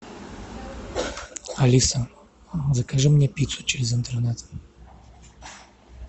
алиса закажи мне пиццу через интернет